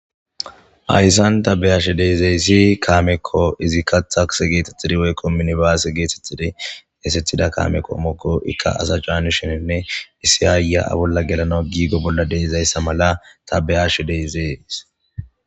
Ayssan tabeyaash deezeyssi kaamekko izikka taks geetettidi weykko minibaase geetettidi esethida kaamekko mookko ikka asa caanisheninne issi aayaa bolla gelana giigo bolla deeizayssa mala tabeyash deezees.